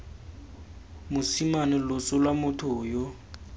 mosime loso lwa motho yo